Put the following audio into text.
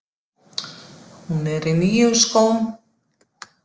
Hún er í nýjum skóm.